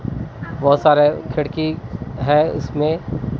बहोत सारे खिड़की है इसमें।